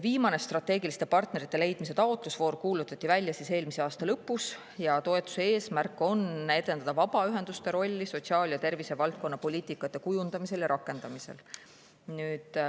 " Viimane strateegiliste partnerite leidmise taotlusvoor kuulutati välja eelmise aasta lõpus ja toetuse eesmärk on edendada vabaühenduste rolli sotsiaal- ja tervisevaldkonna poliitika kujundamisel ja rakendamisel.